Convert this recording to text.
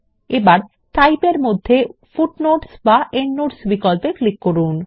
এবার টাইপ এর অধীনে হয় ফুটনোটস বা এন্ডনোটস বিক্পল্পে ক্লিক করুন